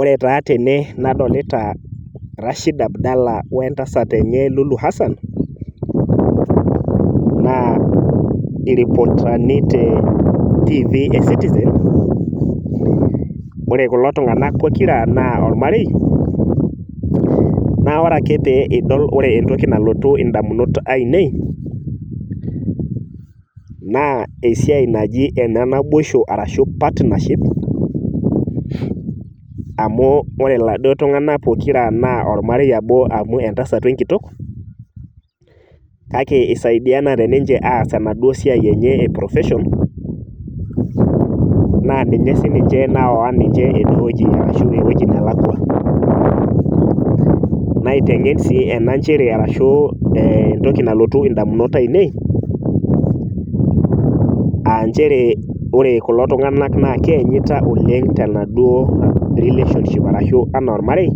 Ore taa tene nadolita Rashid Abdala wentasat enye Lulu Hassan naa iripotani tetv ecitizen , ore kulo tunganak pokira naa ormarei , naa ore ake pee idol , ore entoki nalotu indamunot ainei naa esiai naji enenaboisho ashu partneship amu ore iladuo tunganak pokira naa ormarei obo amu entasat wenkitok kake isaidianate ninche aas enaduo siai enye eprofession naa ninye sininche nawa ninche enewueji ashu ewueji nalakwa naitengen sii enanchere ashu entoki nalotu ndamunot ainei aa nchere ore kulo tunganak naa keenyita tenaduo relationship arashu anaa anaa ormarei